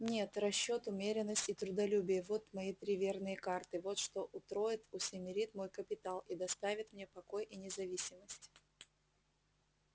нет расчёт умеренность и трудолюбие вот мои три верные карты вот что утроит усемерит мой капитал и доставит мне покой и независимость